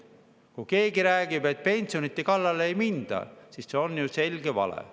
Kui keegi räägib, et pensionite kallale ei minda, siis see on selge vale.